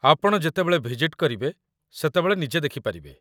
ଆପଣ ଯେତେବେଳେ ଭିଜିଟ୍ କରିବେ, ସେତେବେଳେ ନିଜେ ଦେଖିପାରିବେ